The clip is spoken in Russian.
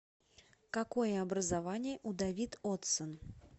какое образование у давид оддссон